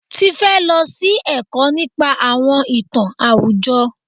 Tifẹ́ lọ sí ẹ̀kọ́ nípa àwọn ìtàn àwùjọ.